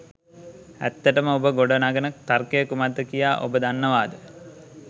ඇත්තටම ඔබ ගොඩ නගන තර්කය කුමක්ද කියා ඔබ දන්නවාද?